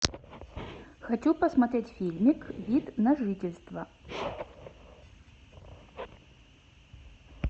хочу посмотреть фильмик вид на жительство